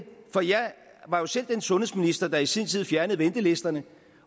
for jeg var jo selv den sundhedsminister der i sin tid fjernede ventelisterne